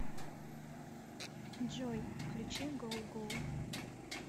джой включи гоу гоу